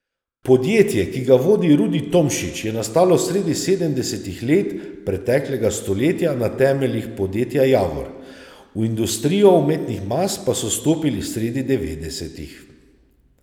Podjetje, ki ga vodi Rudi Tomšič, je nastalo sredi sedemdesetih let preteklega stoletja na temeljih podjetja Javor, v industrijo umetnih mas pa so stopili sredi devetdesetih.